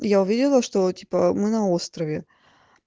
и я увидела что типа мы на острове